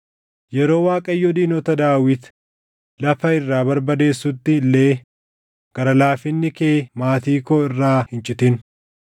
Yeroo Waaqayyo diinota Daawit lafa irraa barbadeessutti illee gara laafinni kee maatii koo irraa hin citin.”